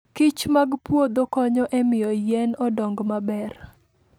kichmag puodho konyo e miyo yien odong maber.